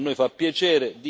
a noi fa piacere